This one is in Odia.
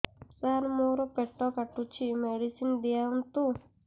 ସାର ମୋର ପେଟ କାଟୁଚି ମେଡିସିନ ଦିଆଉନ୍ତୁ